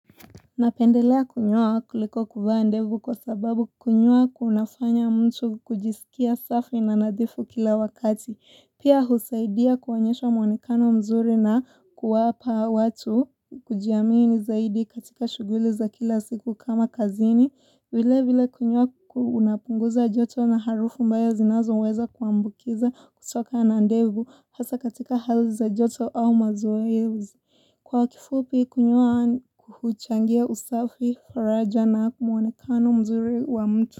Napendelea kunyoa kuliko kuvaa ndevu kwa sababu kunyoa kunafanya mtu kujisikia safi na nadhifu kila wakati. Pia husaidia kuonyesha mwonekano mzuri na kuwapa watu kujiamini zaidi katika shughuli za kila siku kama kazini. Vile vile kunyoa unapunguza joto na harufu mbaya zinazo uweza kuambukiza kutoka na ndevu hasa katika hali za joto au mazoezi. Kwa kifupi kunyoa huchangia usafi, faraja na mwonekano mzuri wa mtu.